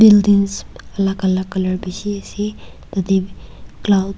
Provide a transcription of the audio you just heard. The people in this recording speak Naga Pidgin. buildings alak alak color bishi ase tade cloud --